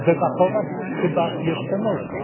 No debatować chyba jeszcze można.